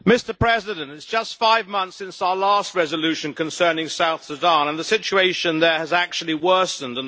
Mr President, it is just five months since our last resolution concerning South Sudan, and the situation there has actually worsened.